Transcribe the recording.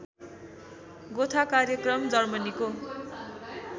गोथा कार्यक्रम जर्मनीको